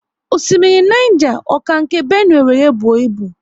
Osimiri Niger, ọ ka nke Benue wéré buo ibu?